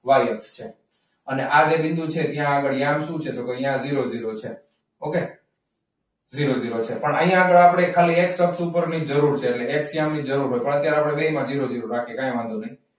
છે. ને આ જે બિંદુ છે ત્યાં આગળ ત્યાં શું છે ત્યાં આગળ zero zero છે. okay. zero zero છે. અહીંયા આગળ આપણે x અક્ષ ઉપર જ જરૂર છે. અત્યારે આપણે બંનેમાં zero zero રાખીએ કંઈ વાંધો નહીં.